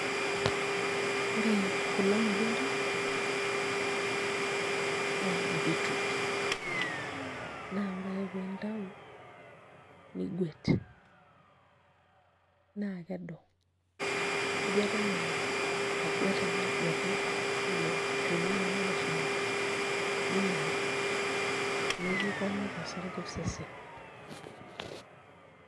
Ore kulo matunda naa keji beetroot naa ore ake pee intayu niguet naa kedo niguet enaa aguet ake aguetu ilo shoni leneye leshumata ninyaal nikiponiki osarge osesen.